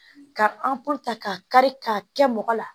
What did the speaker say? Ka ka kari k'a kɛ mɔgɔ la